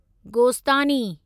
गोस्तानी